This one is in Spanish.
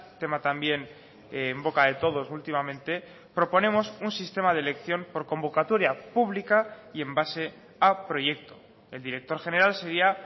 tema también en boca de todos últimamente proponemos un sistema de elección por convocatoria pública y en base a proyecto el director general sería